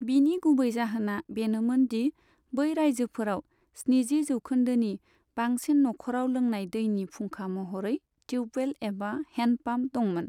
बिनि गुबै जाहोना बेनोमोन दि बै रायजोफोराव स्निजि जौखोन्दोनि बांसिन न'खराव लोंनाय दैनि फुंखा महरै ट्युबवेल एबा हेन्डपम्प दंमोन।